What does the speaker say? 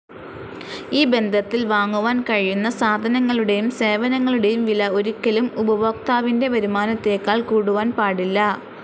ഈ ബന്ധത്തിൽ വാങ്ങുവാൻ കഴിയുന്ന സാധനങ്ങളുടേയും സേവനങ്ങളുടേയും വില ഒരിക്കലും ഉപഭോക്താവിന്റെ വരുമാനത്തേക്കാൾ കൂടുവാൻ പാടില്ല.